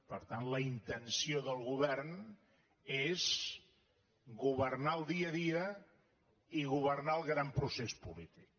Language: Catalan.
per tant la intenció del govern és governar el dia a dia i governar el gran procés polític